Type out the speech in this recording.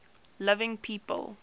living people